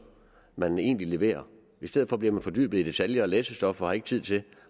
man egentlig leverer i stedet for bliver man fordybet i detaljer og læsestof og har ikke tid til